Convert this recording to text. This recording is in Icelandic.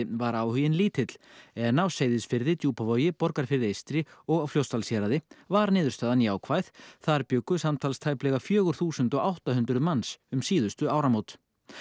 var áhuginn lítill en á Seyðisfirði Djúpavogi Borgarfirði eystra og Fljótsdalshéraði var niðurstaðan jákvæð þar bjuggu samtals tæplega fjögur þúsund átta hundruð manns um síðustu áramót